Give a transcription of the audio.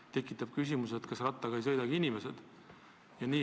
Mul tekkis küsimus, kas rattaga ei sõidagi inimesed.